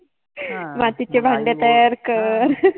मातिचे भांडे तयार कर